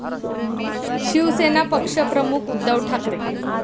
शिवसेना पक्षप्रमुख उद्धव ठाकरे.